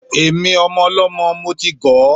Èmi, ọmọ ọlọ́mọ, mo ti gọ̀ ọ́.